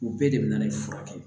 U bɛɛ de bɛ furakɛ